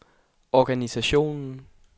organisationen